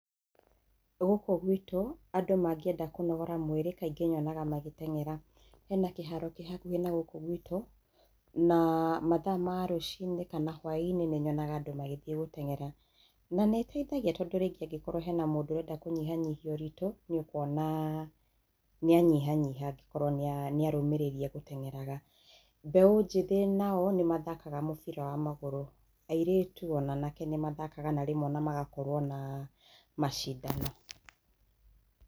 Gũku gwitũ andũ mangĩenda kũnogora mwĩrĩ kaingĩ nyonaga magĩteng'era. Hena kĩharo kĩ hakuhĩ na gũkũ gwitũ na mathaa ma rũciinĩ kana hwaĩ-ini, nĩ nyonaga andũ magĩthiĩ gũteng'era. Na nĩ ĩtethagia tondũ rĩngĩ angĩkorwo hena mũndũ ũrenda kũnyihanyihia ũritũ, nĩũkũona nĩanyihanyihia angĩkorwo nĩarũmĩrĩria gũteng'eraga. Mbeũ njĩthĩ nao nĩ mathakaga mũbira wa magũrũ, airĩtu, ona anake nĩ mathakaga, na rĩmwe ona magakorwo na macindano.